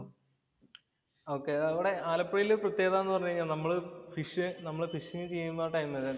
ആലപ്പുഴയിലെ പ്രത്യേകത എന്ന് പറഞ്ഞു കഴിഞ്ഞാല്‍ നമ്മള് നമ്മള് ഫസ്റ്റ് ഫിഷിങ്ങ് ചെയ്യുന്ന ടൈമില്